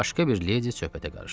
Başqa bir ledi söhbətə qarışdı.